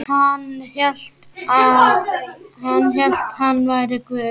Hann hélt hann væri Guð.